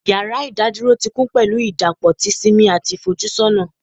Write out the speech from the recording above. Yara idaduro ti kun pẹlu idapọ ti simi ati ifojusona